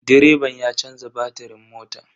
Direban ya canza batirin motan.